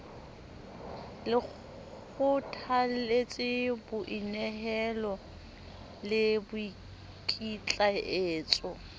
le kgothalletse boinehelo le boikitlaetso